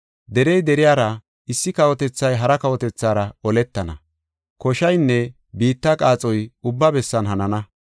Derey deriyara, issi kawotethay hara kawotethaara oletana. Koshaynne biitta qaaxoy ubba bessan hanana.